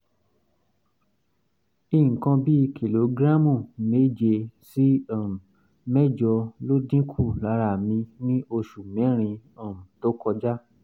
nǹkan bí kìlógíráàmù méje sí um mẹ́jọ ló dínkù lára mi ní oṣù mẹ́rin um tó kọjá